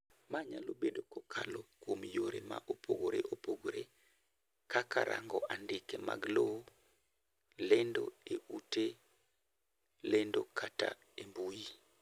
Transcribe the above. Ma nyalo bado kokalo kuom yore ma opogore opogore kaka rango andike mag lowo, lendo e ute lendo kata e mbui